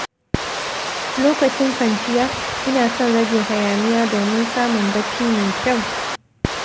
Lokacin kwanciya, ina son rage hayaniya domin samun bacci mai kyau.